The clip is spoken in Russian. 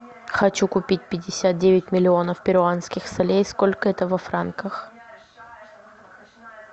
хочу купить пятьдесят девять миллионов перуанских солей сколько это во франках